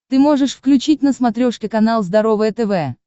ты можешь включить на смотрешке канал здоровое тв